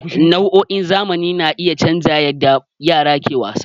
Na'urorin zamani na iya canza yadda yara ke wasa.